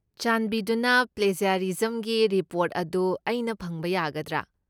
ꯆꯥꯟꯕꯤꯗꯨꯅ, ꯄ꯭ꯂꯦꯖ꯭ꯌꯔꯤꯖꯝꯒꯤ ꯔꯤꯄꯣꯔꯠ ꯑꯗꯨ ꯑꯩꯅ ꯐꯪꯕ ꯌꯥꯒꯗ꯭ꯔꯥ?